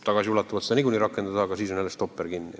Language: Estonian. Tagasiulatuvalt seda ei saa rakendada ja jälle on stopper kinni.